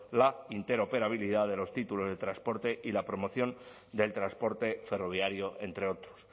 la interoperabilidad de los títulos de transporte y la promoción del transporte ferroviario entre otros